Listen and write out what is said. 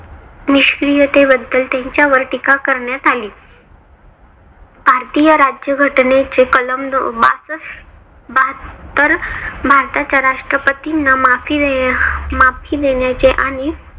निष्क्रीयते बद्दल त्यांच्यावर टीका करण्यात आली. भारतीय राज्यघटनेचे कलम बासष्ट बाहत्तर भारताच्या राष्ट्रपतीना माफी देण्या माफी देण्याच्या आणि